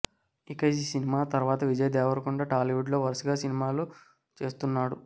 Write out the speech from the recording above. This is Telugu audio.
ఇక ఈ సినిమా తర్వాత విజయ్ దేవరకొండ టాలీవుడ్ లో వరసగా సినిమాలు చేస్తున్నాడు